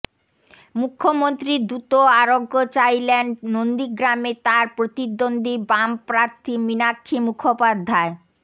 মুখ্যমন্ত্রীর দ্রুত আরোগ্য চাইলেন নন্দীগ্রামে তাঁর প্রতিদ্বন্দ্বী বাম প্রার্থী মীনাক্ষী মুখোপাধ্যায়